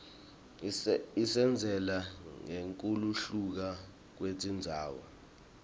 isitjela ngekuhluka kwetindzawo